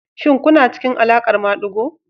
Shin kuna cikin alaƙar madigo?